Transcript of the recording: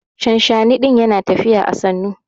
Shanshani din Yana tafiya à sannu.